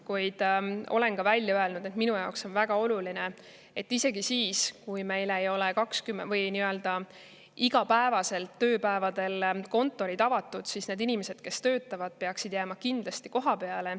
Samas ma olen välja öelnud, et minu jaoks on väga oluline, et isegi siis, kui meil ei ole kõigil tööpäevadel kontorid avatud, peaksid need inimesed, kes töötavad, jääma kohapeale.